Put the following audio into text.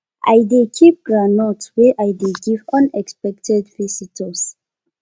i dey keep groundnut wey i dey give unexpected visitors